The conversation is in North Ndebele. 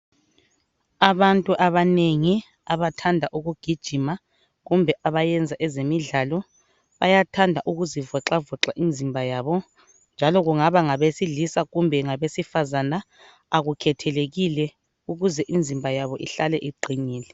Abantu abanengi abathanda ukugijima kumbe abayenza ezemidlalo bayathanda ukuzivoxavoxa imzimba yabo. Njalo kungaba ngabesilisa kumbe ngabesifazana akukhethelekile. Ukuze imzimba yabo ihlale iqinile.